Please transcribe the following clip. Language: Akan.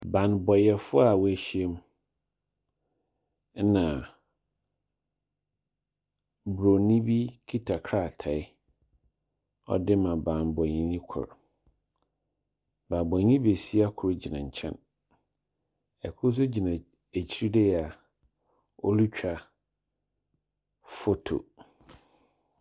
Banbɔfo a woehyia mu, na Buronin bi kita krataa, ɔdze rema banbɔnyi no kor. Banbɔnyi besua kor gyina nkyɛn. Kor nso gyina ekyir dei a ɔretwa photo.